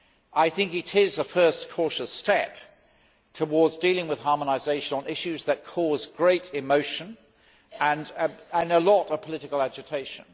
I think it is a first cautious step towards dealing with harmonisation on issues that cause great emotion and a lot of political agitation.